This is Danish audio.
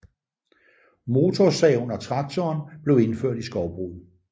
Motorsaven og traktoren blev indført i skovbruget